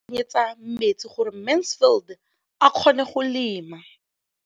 O ne gape a mo tsenyetsa metsi gore Mansfield a kgone go lema.